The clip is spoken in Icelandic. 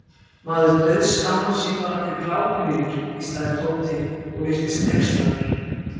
Maður dauðskammast sín bara fyrir glápið í þér hvíslaði Tóti og virtist hneykslaður.